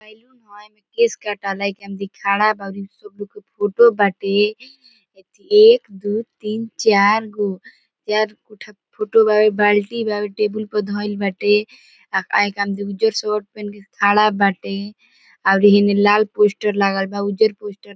saloon हेय एमे केश कटावे के एमे फोटो बाटे अथी एक दू तीन चार गो बाल्टी बा टेबुल पे धेएल बाटे आ एकरा में दू गो उज्जर शर्ट पहिन के खड़ा बाटे आर हीनी में लाल पोस्टर लागल बा उज्जर पोस्टर --